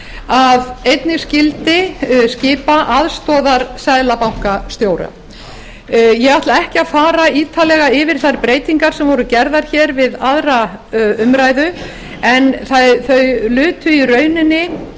að einnig skyldi skipa aðstoðarseðlabankastjóra ég ætla ekki að fara ítarlega yfir þær breytingar sem voru gerðar við aðra umræðu en þær lutu í rauninni